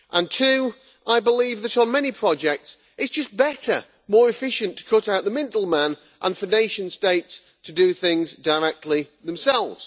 Two, I believe that on many projects it is just better and more efficient to cut out the middleman and for nation states to do things directly themselves.